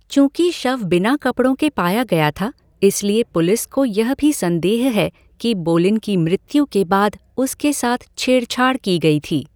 चूंकि शव बिना कपड़ों के पाया गया था, इसलिए पुलिस को यह भी संदेह है कि बोलिन की मृत्यु के बाद उसके साथ छेड़छाड़ की गई थी।